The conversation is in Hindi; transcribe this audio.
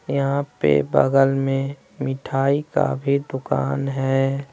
यहाँ पे बगल में मिठाई का भी दुकान है।